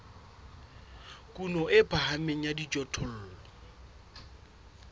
kuno e phahameng ya dijothollo